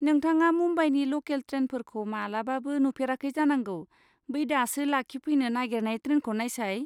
नोंथाङा मुम्बाइनि ल'केल ट्रेनफोरखौ मालाबाबो नुफेराखै जानांगौ, बै दासो लाखिफैनो नागेरनाय ट्रेनखौ नायसाय।